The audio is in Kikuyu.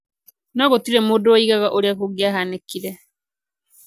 No gũtirĩ mũndũ woigaga ũrĩa kũngĩahanĩkire.